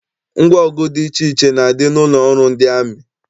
Ngwa ọgụ dị iche iche na-adị n'ụlọ ọrụ ndị amị.